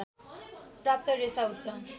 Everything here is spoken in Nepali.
प्राप्त रेशा उच्च